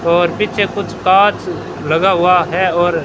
और पीछे कुछ कांच लगा हुआ है और--